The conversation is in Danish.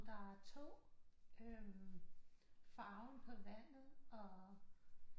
Der er to øh farven på vandet og